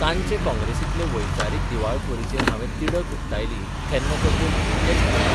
'तांचे 'काँग्रेसींतले वैचारीक दिवाळखोरीचेर हावें तिडक उक्तायली तेन्ना तर ते मुमुरखेच हांसले.